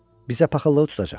Bizə paxıllığı tutacaq.